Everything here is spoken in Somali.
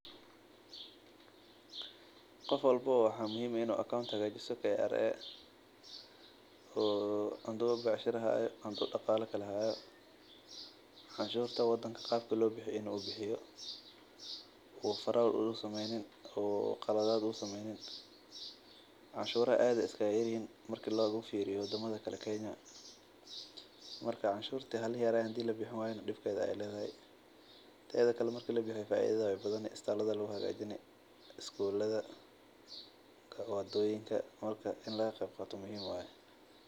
Qof walbo waxaa muhiim ah in uu hagajisto haduu shaqo haaya cashurta wadanka inuu bixiyo aad ayeey uyar yihiin mahadiyo labixin waayo dibkeeda ayaa weyn faida weyn ayeey ledahay wadoyinka ayaa lagu hagajiya iskulada iyo isbitaalada.